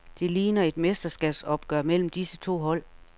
Det ligner et mesterskabsopgør mellem disse to hold.